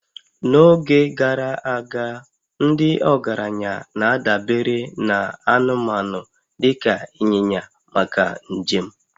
n'oge gara aga, ndị ọgaranya na-adabere na anụmanụ dị ka ịnyịnya maka njem